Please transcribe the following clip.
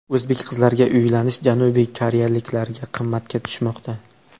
O‘zbek qizlariga uylanish janubiy koreyaliklarga qimmatga tushmoqda.